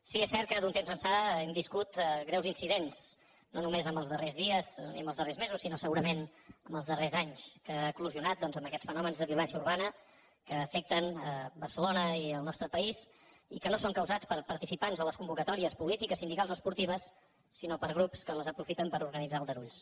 sí és cert que d’un temps ençà hem viscut greus incidents no només en els darrers dies ni en els darrers mesos sinó segurament en els darrers anys que han eclosionat amb aquests fenòmens de violència urbana que afecten barcelona i el nostre país i que no són causats per participants a les convocatòries polítiques sindicals o esportives sinó per grups que les aprofiten per organitzar aldarulls